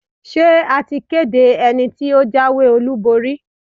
Ṣé a ti kéde ẹni tí ó jáwé-olúborí?